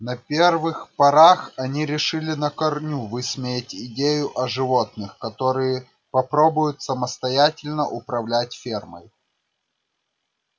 на первых порах они решили на корню высмеять идею о животных которые попробуют самостоятельно управлять фермой